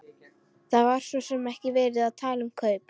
Það var svo sem ekki verið að tala um kaup.